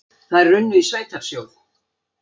Þær runnu í sveitarsjóð.